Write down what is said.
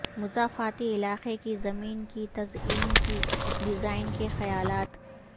مضافاتی علاقے کی زمین کی تزئین کی ڈیزائن کے خیالات